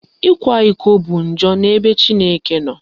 Ịkwa iko bụ njọ n'ebe Chineke nọ